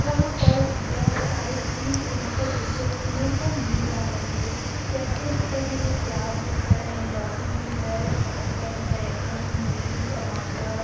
यहाँ पर बहोत सारे चीज यहां पर देखे नो को मिल रहा है मुझे। जैसे यहाँ पर मुझे प्याज दिख रहे है लौकी दिख रहे और गाजर बैगन मूली टमाटर --